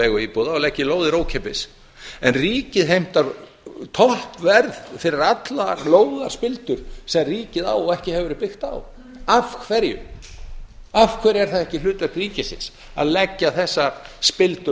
leiguíbúða leggi lóðir ókeypis en ríkið heimtar toppverð fyrir allar lóðarspildur sem ríkið á og ekki hefur verið byggt á af hverju af hverju er það ekki hlutverk ríkisins að leggja þessar spildur